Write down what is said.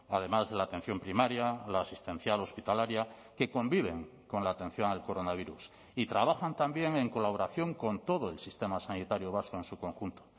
además de la atención primaria la asistencial hospitalaria que conviven con la atención al coronavirus y trabajan también en colaboración con todo el sistema sanitario vasco en su conjunto